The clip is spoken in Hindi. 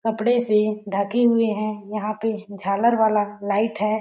कपड़े से ढके हुए हैं। यहाँ पे झालर वाला लाइट है।